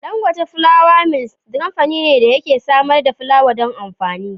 Dangote Flour Mills kamfani ne da yake samar da fulawa don amfani.